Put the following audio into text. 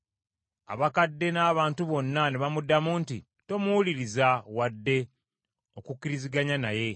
Abakadde n’abantu bonna ne bamuddamu nti, “Tomuwuliriza wadde okukkiriziganya naye.”